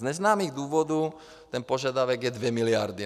Z neznámých důvodů ten požadavek je 2 miliardy.